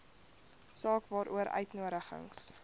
saak waaroor uitnodigings